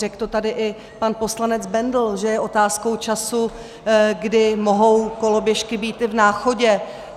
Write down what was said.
Řekl to tady i pan poslanec Bendl, že je otázkou času, kdy mohou koloběžky být i v Náchodě.